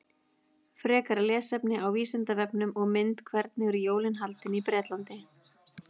Frekara lesefni á Vísindavefnum og mynd Hvernig eru jólin haldin í Bretlandi?